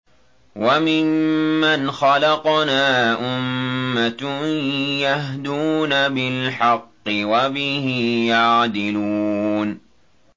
وَمِمَّنْ خَلَقْنَا أُمَّةٌ يَهْدُونَ بِالْحَقِّ وَبِهِ يَعْدِلُونَ